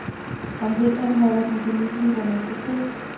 Om vinteren holder den gemytlige borgmester fri.